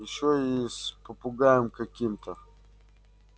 ещё и с попугаем каким-то